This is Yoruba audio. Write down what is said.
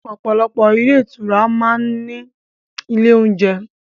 Ọ̀pọ̀ ilé-ìtura ńlá máa ń ní ilé-oúnjẹ.